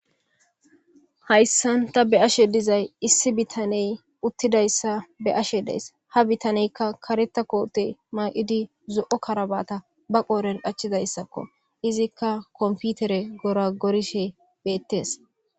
hayssan ta be'ashe dizay issi bitaney uttidayssa be'ashe dees ha bitaneykka kareta koote maaqidi zo7o karabata ba qooren achchidayssakko izikka komputere gora gorishe beettes